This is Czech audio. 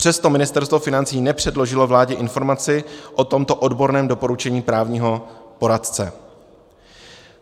Přesto Ministerstvo financí nepředložilo vládě informaci o tomto odborném doporučení právního poradce.